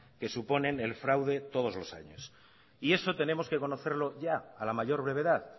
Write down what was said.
que suponen el fraude todos los años y eso tenemos que conocerlo ya a la mayor brevedad